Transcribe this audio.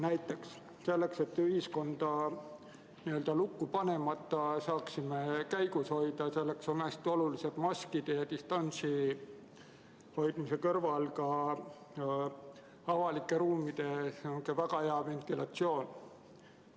Näiteks selleks, et saaksime ühiskonda lukku panemata seda käigus hoida, on maskide ja distantsi hoidmise kõrval hästi oluline avalike ruumide väga hea ventilatsioon.